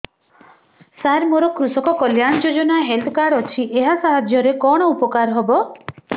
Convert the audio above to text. ସାର ମୋର କୃଷକ କଲ୍ୟାଣ ଯୋଜନା ହେଲ୍ଥ କାର୍ଡ ଅଛି ଏହା ସାହାଯ୍ୟ ରେ କଣ ଉପକାର ହବ